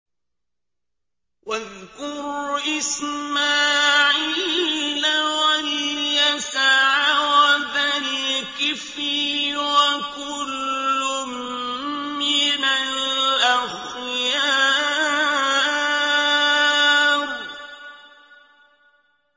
وَاذْكُرْ إِسْمَاعِيلَ وَالْيَسَعَ وَذَا الْكِفْلِ ۖ وَكُلٌّ مِّنَ الْأَخْيَارِ